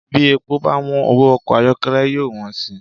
Bí epo báwọ́n, owó ọkọ ayọ́kẹ́lẹ́ yóò wọ́n sì